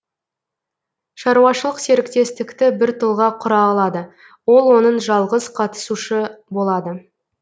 шаруашылық серіктестікті бір тұлға құра алады ол оның жалғыз қатысушы болады